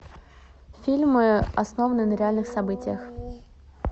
фильмы основанные на реальных событиях